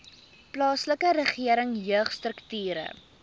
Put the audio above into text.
plaaslike regering jeugstrukture